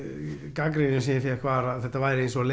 gagnrýnin sem ég fékk var að þetta væri eins og að